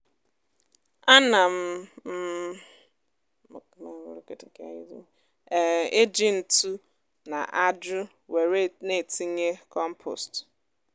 á nà m m um ejì ntụ na ájù wèré n'ètínyé kọ́mpost